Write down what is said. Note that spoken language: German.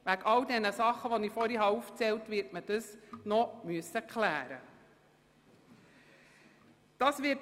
Aufgrund all der aufgezählten Dinge wird die Frage der Zonenplanänderung zu klären sein.